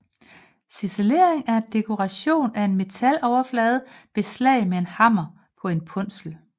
Ciselering er dekorering af en metaloverflade ved slag med en hammer på en punsel